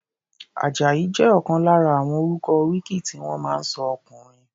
Àjàyí jẹ́ ọ̀kan lára àwọn orúkọ oríkì tí wọ́n máa ń sọ ọkùnrin.